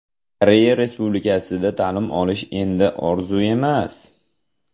Koreya Respublikasida ta’lim olish endi orzu emas!.